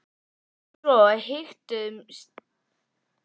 Svo hikstuðumst við út á gólfið í takt við músíkina.